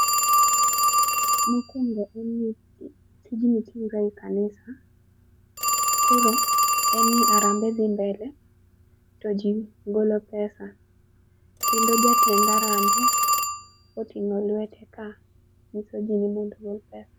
Mokwongo en ni tij ni tire e kanisa. Koro en ni harambee dhi mbele to jii golo pesa kendo jatend harambe oting'o lwete ka nyiso jii ni mondo ogol pesa.